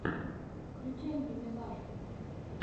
включай мимилашку